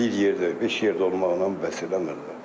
Məsələn, bir yerdə, beş yerdə olmaqla bəs eləmir.